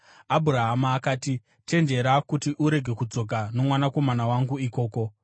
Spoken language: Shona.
Abhurahama akati, “Chenjera kuti urege kudzokera nomwanakomana wangu ikoko.